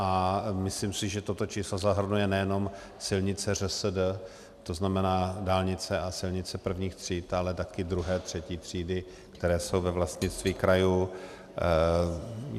A myslím si, že toto číslo zahrnuje nejenom silnice ŘSD, to znamená dálnice a silnice prvních tříd, ale také druhé, třetí třídy, které jsou ve vlastnictví krajů.